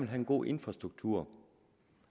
have en god infrastruktur